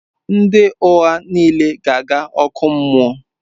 Ndị ụgha niile ga-aga ọkụ mmụọ.